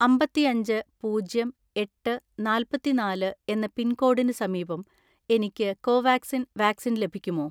അമ്പത്തിഅഞ്ച് പൂജ്യം എട്ട് നാല്‍പത്തിനാല് എന്ന പിൻകോഡിന് സമീപം എനിക്ക് കോവാക്സിൻ വാക്സിൻ ലഭിക്കുമോ?